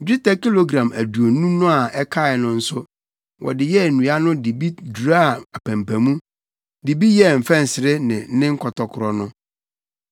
Dwetɛ kilogram aduonu no a ɛkae no nso, wɔde yɛɛ nnua no de bi duraa apampamu, de bi yɛɛ mfɛnsere no ne nkɔtɔkoro no.